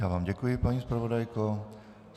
Já vám děkuji, paní zpravodajko.